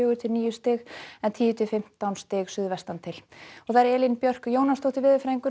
til níu stig en tíu til fimmtán stig suðvestan til Elín Björk Jónasdóttir veðurfræðingur